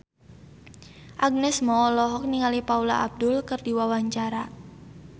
Agnes Mo olohok ningali Paula Abdul keur diwawancara